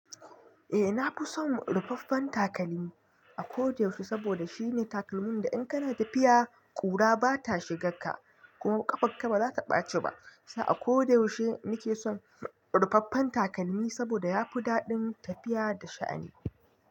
Eh na fi son rufaffen takalmi a ko da yaushe saboda shine takalmin da in kana tafiya kura bata shiga ka kuma ƙafarka baza ta ɓace ba. Sa a ko da yaushe nike son rufaffen takalmi saboda yafi daɗin tafiya da sha'ani.